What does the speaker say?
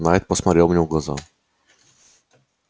найд посмотрел мне в глаза